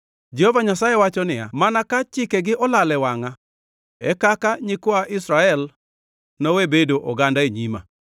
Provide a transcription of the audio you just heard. Jehova Nyasaye wacho niya, “Mana ka chikegi olal e wangʼa, e kaka nyikwa Israel nowe bedo oganda e nyima.”